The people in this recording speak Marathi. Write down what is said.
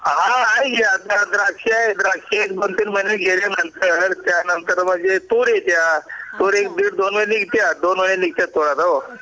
हा आणि शेतमध्ये द्राक्ष आहेत द्राक्ष दोन तीन महीने गेल्या नंतर त्या नंतर मग हे तुर येत्यात दोन महीने येत्यात दोन महीने येत्यात दोन वेळेला येता कुळीद हो